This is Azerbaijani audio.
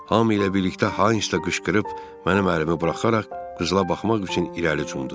Hamı ilə birlikdə Haines də qışqırıb, mənim əlimi buraxaraq qızıla baxmaq üçün irəli cundü.